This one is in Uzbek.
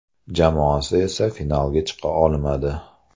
Jamoasi esa finalga chiqa olmadi.